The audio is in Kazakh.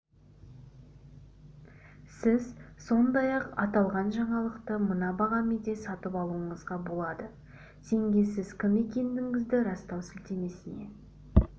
сіз сондай-ақ аталған жаңалықты мына бағамен де сатып алуыңызға болады теңге сіз кім екендігіңізді растау сілтемесіне